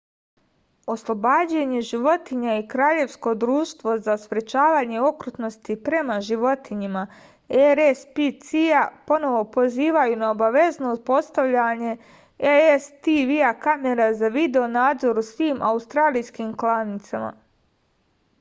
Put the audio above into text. ослобођење животиња и краљевско друштво за спречавање окрутности према животињама рспца поново позивају на обавезно постављање cctv камера за видео-надзор у свим аустралијским кланицама